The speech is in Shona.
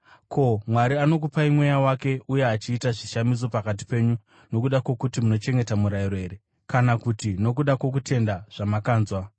Ko, Mwari anokupai Mweya wake uye achiita zvishamiso pakati penyu nokuda kwokuti munochengeta murayiro here, kana kuti nokuda kwokutenda zvamakanzwa?